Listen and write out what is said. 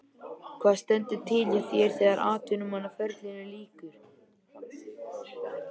Hvað stendur til hjá þér þegar atvinnumannaferlinum lýkur?